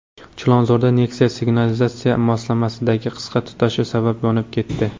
Chilonzorda Nexia signalizatsiya moslamasidagi qisqa tutashuv sabab yonib ketdi.